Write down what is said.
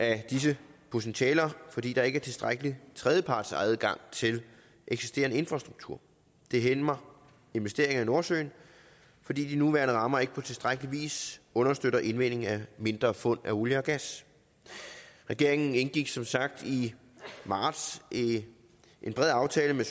af disse potentialer fordi der ikke er tilstrækkelig tredjepartsadgang til den eksisterende infrastruktur det hæmmer investeringer i nordsøen fordi de nuværende rammer ikke på tilstrækkelig vis understøtter indvinding af mindre fund af olie og gas regeringen indgik som sagt i marts en bred aftale med